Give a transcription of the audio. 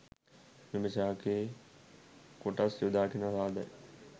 මෙම ශාකයේ කොටස් යොදාගෙන සාදයි.